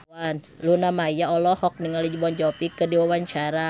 Luna Maya olohok ningali Jon Bon Jovi keur diwawancara